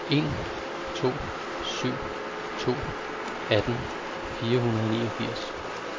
en to syv to atten fire hundrede og niogfirs